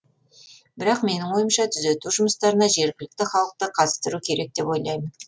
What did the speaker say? бірақ менің ойымша түзету жұмыстарына жергілікті халықты қатыстыру керек деп ойлаймын